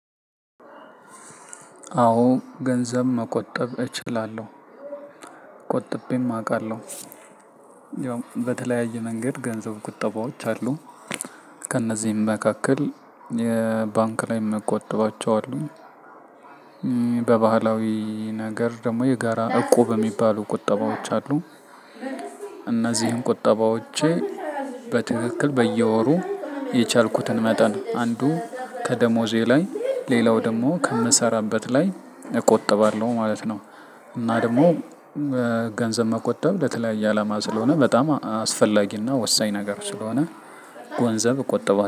አዎ ገንዘብ መቆጠብ እችላለሁ። ቆጥቤም አውቃለሁ። ያው በተለያየ መንገድ ገንዘብ ቁጠባዎች አሉ። ከእነዚህም መካከል የባንክ ላይ መቆጥባቸው አሉ። በባህላዊ ነገር ደግሞ የጋራ እቁብ የሚባሉ ቁጠባዎች አሉ። እነዚህን ቁጠባዎቼ በትክክል በየወሩ የቻልኩትን መጠን አንዱ ከደሞዜ ላይ ሌላው ደግሞ ከምሰራበት ላይ እቆጥባለሁ ማለት ነው። እና ደግሞ ገንዘብ መቆጠብ ለተለያየ አላማ ስለሆነ በጣም አስፈላጊና ወሳኝ ነገር ስለሆነ ገንዘብ እቆጥባለው